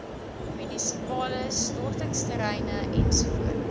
munisipale stortingsterreine ens